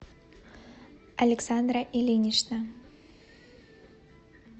александра ильинична